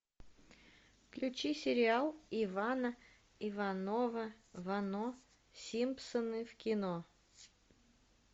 включи сериал ивана иванова вано симпсоны в кино